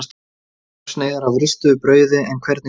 Þrjár sneiðar af ristuðu brauði en hvernig sultu?